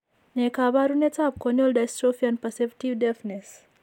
Ne kaabarunetap Corneal dystrophy and perceptive deafness?